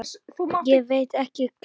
Ég veit ekki svarið.